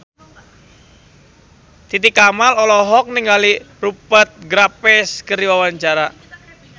Titi Kamal olohok ningali Rupert Graves keur diwawancara